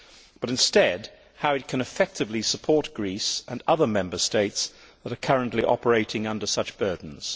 but instead tell us how we can effectively support Greece and other Member States that are currently operating under such burdens?